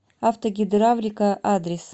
автогидравлика адрес